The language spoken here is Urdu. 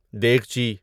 دیگچی